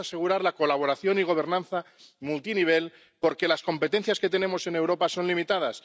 Debemos asegurar la colaboración y gobernanza multinivel porque las competencias que tenemos en Europa son limitadas.